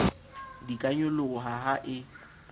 di ka nyoloha ha e